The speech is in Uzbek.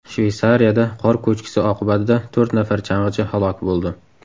Shveysariyada qor ko‘chkisi oqibatida to‘rt nafar chang‘ichi halok bo‘ldi.